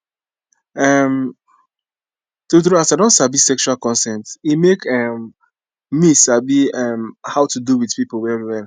um true true as i don sabi sexual consent e make um me sabi um how to do with people well well